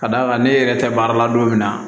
Ka d'a kan ne yɛrɛ tɛ baara la don min na